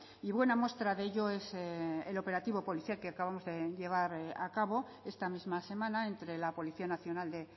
y buena muestra de ello es el operativo policial que acabamos de llevar a cabo esta misma semana entre la policía nacional de